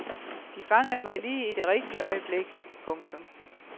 De fangede mig lige i det rigtige øjeblik. punktum